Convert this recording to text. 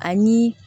Ani